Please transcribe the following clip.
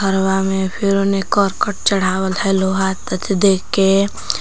हवा में फिर ओने करकट चढ़ावल ह लोहा त देख के--